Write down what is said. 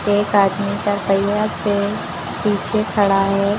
एक आदमी का चार पहिया से पीछे खड़ा है।